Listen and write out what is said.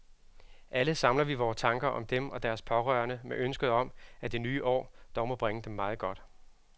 Alle samler vi vore tanker om dem og deres pårørende med ønsket om, at det nye år dog må bringe dem meget godt.